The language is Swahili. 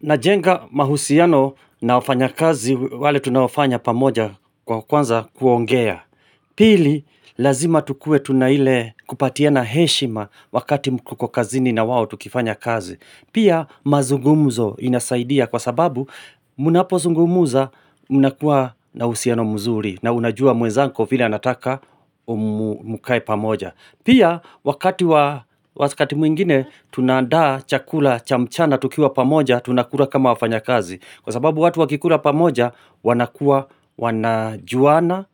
Najenga mahusiano na wafanyakazi wale tunaofanya pamoja kwa kwanza kuongea. Pili lazima tukue tuna ile kupatiana heshima wakati mko kazini na wao tukifanya kazi. Pia mazungumzo inasaidia kwa sababu mnapozungumuza mnakuwa na uhusiano mzuri na unajua mwenzako vile anataka mkae pamoja. Pia wakati mwingine tunaandaa chakula cha mchana tukiwa pamoja tunakula kama wafanyakazi Kwa sababu watu wakikula pamoja wanakuwa wanajuana